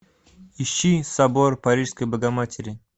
ищи собор парижской богоматери